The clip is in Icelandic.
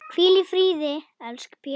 Hvíl í friði, elsku Pétur.